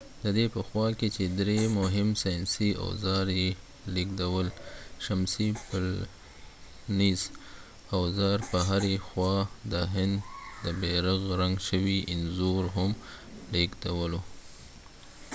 ددې په خوا کې چې درې مهم ساینسي اوزار یې لیږدول شمسی پلټنیز اوزار په هرې خوا د هند د بیرغ رنګ شوي انځور هم لیږدولو